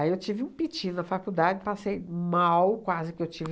eu tive um piti na faculdade, passei mal, quase que eu tive...